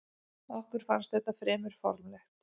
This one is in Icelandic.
Okkur fannst þetta fremur formlegt.